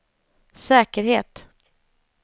säkerhet